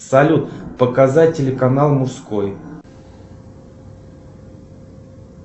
салют показать телеканал мужской